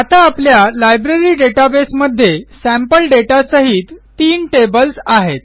आता आपल्या library database मध्ये सॅम्पल दाता सहित तीन टेबल्स आहेत